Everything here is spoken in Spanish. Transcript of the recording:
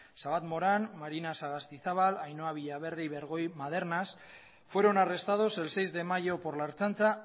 xabat moran marina sagastizabal ainhoa villaverde y bergoi madernaz fueron arrestados el seis de mayo por la ertzaintza